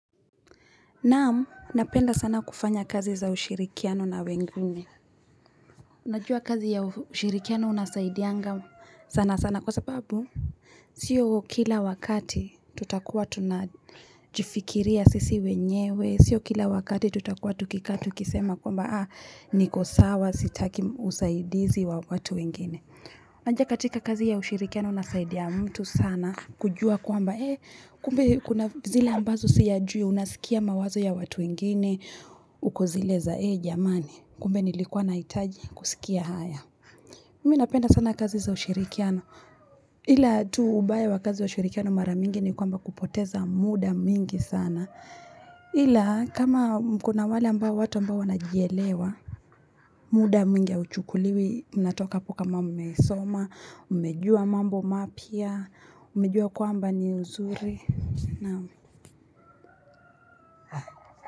Naam, napenda sana kufanya kazi za ushirikiano na wengine. Najua kazi ya ushirikiano unasaidianga sana sana kwa sababu sio kila wakati tutakuwa tunajifikiria sisi wenyewe. Sio kila wakati tutakuwa tukikaa tukisema kwamba niko sawa sitaki usaidizi wa watu wengine. Kwanza katika kazi ushirikiano unasaidia mtu sana kujua kwamba kumbe kuna zile ambazo siyajui, unasikia mawazo ya watu wengine, uko zile za ee jamani. Kumbe nilikuwa nahitaji kusikia haya. Mi napenda sana kazi za ushirikiano. Ila tu ubaya wa kazi ushirikiano mara nyingi ni kwamba kupoteza muda mingi sana. Ila kama kuna wale ambao watu ambao wanajielewa, muda mingi hauchukuliwi mnatoka hapo kama mmesoma, mmejua mambo mapya, mmejua kwamba ni nzuri. Naam.